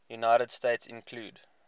united states include